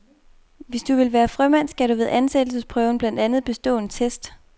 Hvis du vil være frømand, skal du ved ansættelsesprøven blandt andet bestå en test.